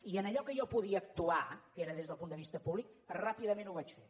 i en allò que jo podia actuar que era des del punt de vista públic ràpidament ho vaig fer